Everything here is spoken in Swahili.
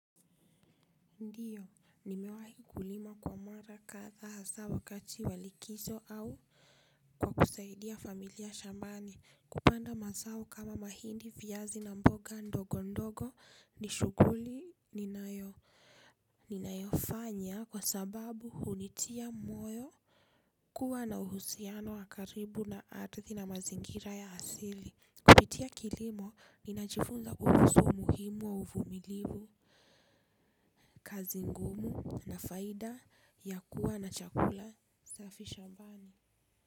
Ndio, nimewahi kulima kwa mara kadhaa hasa wakati walikizo au kwa kusaidia familia shambani. Kupanda mazao kama mahindi viazi na mboga ndogo ndogo ni shuguli ni nayo. Ni nayofanya kwa sababu hunitia moyo kuwa na uhusiano wa karibu na ardhi na mazingira ya asili. Kupitia kilimo ninajifunza kuhusu umuhimu wa uvumilivu, kazi ngumu na faida ya kuwa na chakula. Safi shambani.